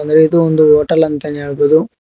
ಇದು ಒಂದು ಹೋಟೆಲ್ ಅಂತಾನೆ ಹೇಳ್ಬೋದು.